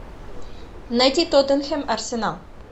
найти тоттенхэм арсенал